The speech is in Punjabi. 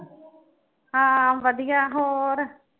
ਹਾਂ ਵਧੀਆ ਹੋਰ